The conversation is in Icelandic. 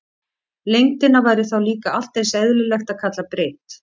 Lengdina væri þá líka allt eins eðlilegt að kalla breidd.